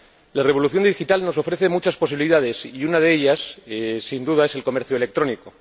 La revolución digital nos ofrece muchas posibilidades, y una de ellas, sin duda, es el comercio electrónico.